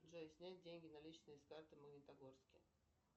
джой снять деньги наличные с карты в магнитогорске